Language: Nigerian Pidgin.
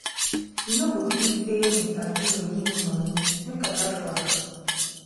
you no go believe say mr. duru give me money make i lie for am